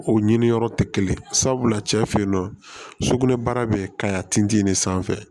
O ɲiniyɔrɔ tɛ kelen ye sabula cɛ fe yen nɔ sugunɛ baara bɛ ka tin ne sanfɛ